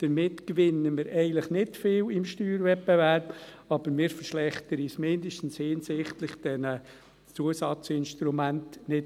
Damit gewinnen wir im Steuerwettbewerb eigentlich nicht viel, aber wir verschlechtern uns zumindest nicht auch noch hinsichtlich dieser Zusatzinstrumente.